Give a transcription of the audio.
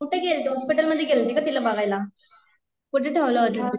कुठे गेलीत हॉस्पिटलमध्ये गेले होते का तिला बघायला कुठे ठेवल होत तिला